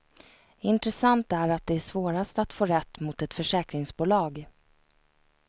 Intressant är att det är svårast att få rätt mot ett försäkringsbolag.